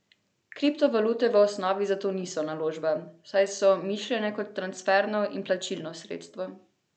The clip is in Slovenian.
Kriptovalute v osnovi zato niso naložba, saj so mišljene kot transferno in plačilno sredstvo.